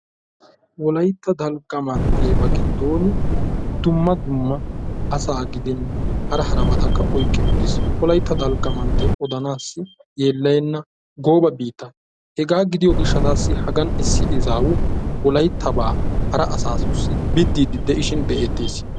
wolaytta dalgga manttiya huuphe Tiransporttiyaanne kaamiya ha asati cadiidi de'iyo koyro tokketidaagee de'iyo koyro go'iya gididi bidiidi de'ishin be"eetees.